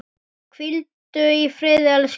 Hvíldu í friði elsku mamma.